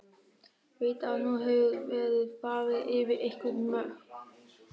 Veit að nú hefur verið farið yfir einhver mörk.